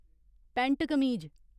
pant कमीज